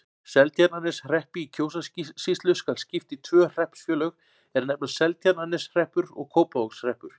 Seltjarnarneshreppi í Kjósarsýslu skal skipt í tvö hreppsfélög, er nefnast Seltjarnarneshreppur og Kópavogshreppur.